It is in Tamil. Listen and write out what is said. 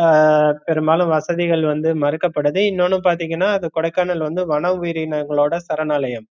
அஹ் பெரும்பாலும் வசதிகள் வந்து மறுக்கப்டுது இன்னொன்னு பாத்தீங்கன்னா அது கொடைக்கானல் வந்து வன உயிரங்களோட சரணாலயம்